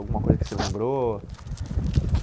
Alguma coisa que você lembrou?